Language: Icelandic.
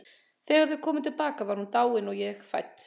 Þegar þau komu til baka var hún dáin og ég fædd.